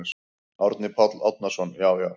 Árni Páll Árnason: Já já.